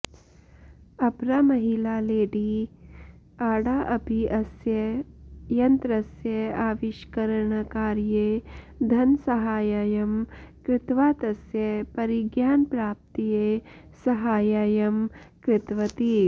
अपरा महिला Lady Ada अपि अस्य यन्त्रस्य आविष्करणकार्ये धनसाहाय्यं कृत्वा तस्य परिज्ञानप्राप्तये साहाय्यं कृतवती